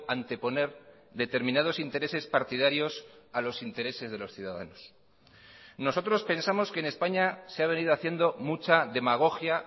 anteponer determinados intereses partidarios a los intereses de los ciudadanos nosotros pensamos que en españa se ha venido haciendo mucha demagogia